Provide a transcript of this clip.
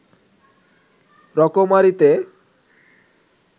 রকমারিতে